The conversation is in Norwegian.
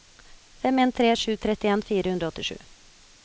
fem en tre sju trettien fire hundre og åttisju